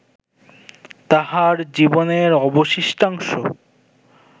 তাঁহার জীবনের অবশিষ্টাংশ